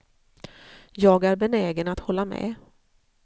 Jag är benägen att hålla med.